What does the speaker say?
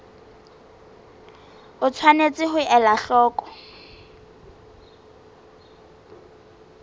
o tshwanetse ho ela hloko